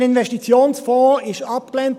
Der Investitionsfonds wurde abgelehnt.